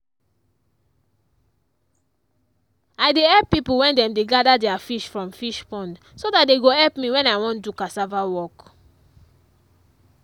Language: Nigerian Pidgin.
i dey help people when dem dey gather their fish from fish pond so that they go help me when i wan do cassava work.